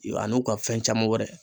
A n'u ka fɛn caman wɛrɛ